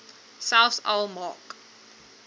selfs al maak